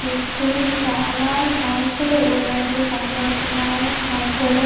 చుట్టూ చాలా మనుషులు ఉన్నట్లు కనబడుతున్నారు.